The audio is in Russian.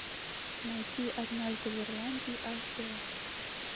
найти однажды в ирландии аш дэ